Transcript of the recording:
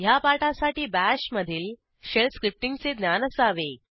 ह्या पाठासाठी बाश मधील शेल स्क्रिप्टींगचे ज्ञान असावे